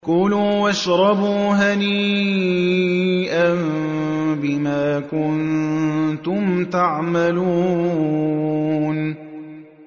كُلُوا وَاشْرَبُوا هَنِيئًا بِمَا كُنتُمْ تَعْمَلُونَ